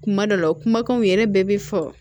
Kuma dɔ la kumakanw yɛrɛ bɛɛ bɛ fɔ